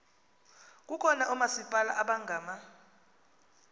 kukho oomasipala abangama